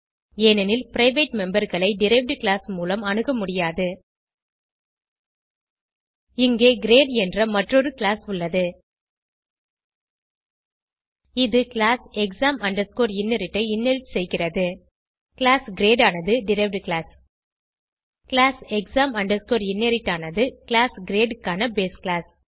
ஏனெனில் பிரைவேட் memberகளை derived class மூலம் அணுக முடியாது இங்கே கிரேட் என்ற மற்றொரு கிளாஸ் உள்ளது இது கிளாஸ் exam inherit ஐ இன்ஹெரிட் செய்கிறது கிளாஸ் கிரேட் ஆனது derived class class exam inherit ஆனது கிளாஸ் கிரேட் க்கான பேஸ் கிளாஸ்